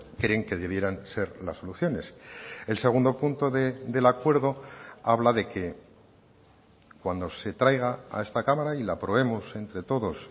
creen que debieran ser las soluciones el segundo punto del acuerdo habla de que cuando se traiga a esta cámara y la aprobemos entre todos